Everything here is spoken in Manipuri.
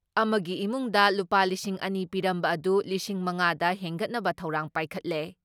ꯑꯃꯒꯤ ꯏꯃꯨꯡꯗ ꯂꯨꯄꯥ ꯂꯤꯁꯤꯡ ꯑꯅꯤ ꯄꯤꯔꯝꯕ ꯑꯗꯨ ꯂꯤꯁꯤꯡ ꯃꯉꯥ ꯗ ꯍꯦꯟꯒꯠꯅꯕ ꯊꯧꯔꯥꯡ ꯄꯥꯏꯈꯠꯂꯦ ꯫